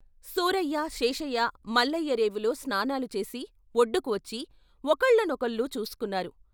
సూరయ్య, శేషయ్య, మల్లయ్య రేపులో స్నానాలు చేసి ఒడ్డుకి వచ్చి ఒకళ్ళ నొకళ్ళు చూసుకున్నారు.